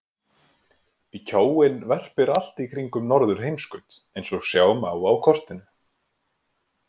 Kjóinn verpir allt í kringum norðurheimskaut eins og sjá má á kortinu.